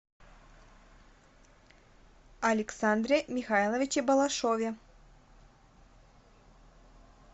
александре михайловиче балашове